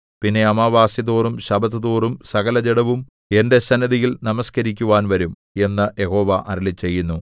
പിന്നെ അമാവാസി തോറും ശബ്ബത്തുതോറും സകലജഡവും എന്റെ സന്നിധിയിൽ നമസ്കരിക്കുവാൻ വരും എന്നു യഹോവ അരുളിച്ചെയ്യുന്നു